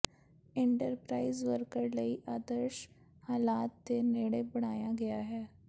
enterprise worker ਲਈ ਆਦਰਸ਼ ਹਾਲਾਤ ਦੇ ਨੇੜੇ ਬਣਾਇਆ ਗਿਆ ਹੈ